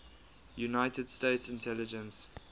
united states intelligence